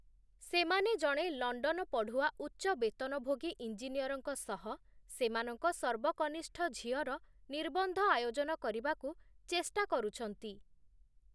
ସେମାନେ ଜଣେ ଲଣ୍ଡନ ପଢ଼ୁଆ ଉଚ୍ଚ ବେତନଭୋଗୀ ଇଞ୍ଜିନିୟରଙ୍କ ସହ, ସେମାନଙ୍କ ସର୍ବକନିଷ୍ଠ ଝିଅର ନିର୍ବନ୍ଧ ଆୟୋଜନ କରିବାକୁ ଚେଷ୍ଟା କରୁଛନ୍ତି ।